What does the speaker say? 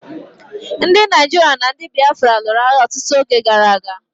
Ndi Naijiria na ndi Biafra lụrụ agha ọtụtụ oge gara aga.